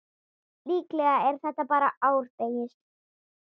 Líklega er þetta bara árdegis